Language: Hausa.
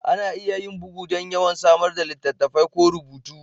Ana iya yin bugu don yawan samar da littattafai ko rubutu